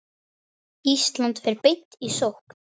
Ísland fer beint í sókn.